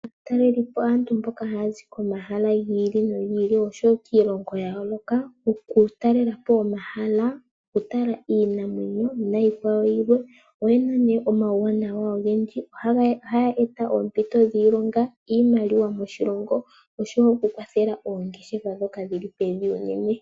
Aatalelipo aantu mboka hayazi komahala gi ili nogi ili oshowo kiilongo ya yooloka oku talelapo omahala , okutala iinamwenyo niikwawo yilwe. Oyena nee omawuwanawa ogendji. Ohaya eta oompito dhiilonga ,iimaliwa moshilongo oshowo oku kwathela oongeshefa ndhoka dhili pevi unene.